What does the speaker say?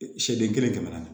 Siyɛn kelen tɛmɛna